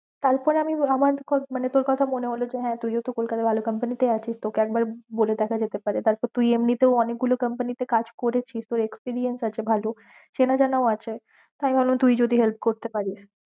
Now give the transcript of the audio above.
তারপরে আমি আমার তোর মানে তোর কথা মনে হল যে হ্যাঁ তুই ও তো কলকাতা তে ভালো company তেই আছিস, তোকে একবার বলে দেখা যেতে পারে তারপর তুই এমনিতেও অনেক গুল company তে কাজ কেড়েছিস, তো experience আছে ভালো, চেনাযানাও আছে, তাই ভাবলাম তুই যদি help করতে পারিশ।